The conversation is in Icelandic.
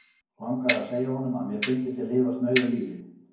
Langaði að segja honum, að mér fyndist ég lifa snauðu lífi.